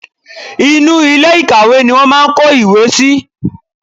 Inú ilé ìkàwé ni wọ́n máà ń kó ìwé síi.